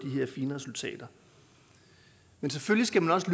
her fine resultater men selvfølgelig skal man også